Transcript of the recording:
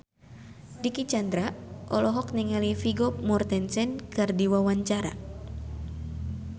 Dicky Chandra olohok ningali Vigo Mortensen keur diwawancara